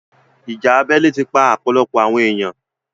ìjà abẹ́lé ti pa ọ̀pọ̀lọpọ̀ àwọn èèyan.